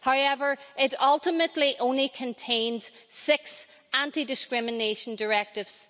However, it ultimately only contained six anti discrimination directives.